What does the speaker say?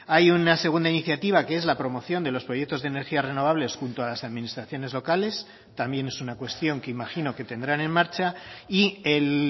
hay una segunda iniciativa que es la promoción de los proyectos de energías renovables junto a las administraciones locales también es una cuestión que imagino que tendrán en marcha y el